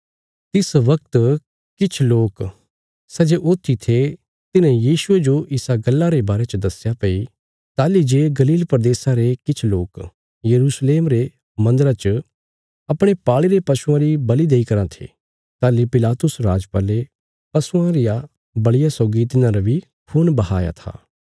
तिस वगत किछ लोक सै जे ऊथी थे तिन्हें यीशुये जो इसा गल्ला रे बारे च दस्या भई ताहली जे गलील प्रदेशा रे किछ लोक यरूशलेम रे मन्दरा च अपणे पाल़ी रे पशुआं री बल़ि देई कराँ थे ताहली पिलातुस राजपाले पशुआं रिया बल़िया सौगी तिन्हारा बी खून बहाया था